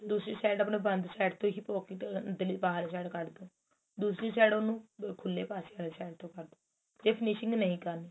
ਦੂਸਰੀ side ਆਪਣਾ ਬੰਦ side ਤੋਂ ਹੀ pocket ਬਾਹਰਲੀ side ਕੱਡਤੀ ਦੂਸਰੀ side ਉਹਨੂੰ ਖੁਲੇ ਪਾਸੇ ਵਾਲੀ side ਤੋਂ ਕੱਡਤਾ ਜੇ finishing ਨਹੀਂ ਕਰਨੀ